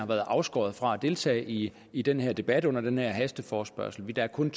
været afskåret fra at deltage i i denne debat under den her hasteforespørgsel der er kun